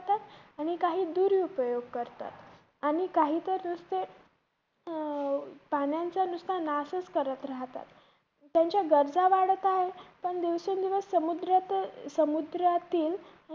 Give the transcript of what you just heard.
आणि काही दुरुपयोग करतात. आणि काही तर नुसत अं पाण्याचा नुसता नाशच करत राहतात. त्यांच्या गरजा वाढत आहेत पण दिवसेंदिवस पण समुद्रा~ समुद्रातील